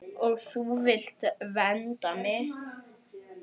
Og þú vilt vernda mig.